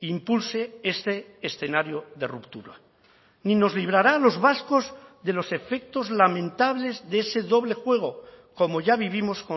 impulse este escenario de ruptura ni nos librará a los vascos de los efectos lamentables de ese doble juego como ya vivimos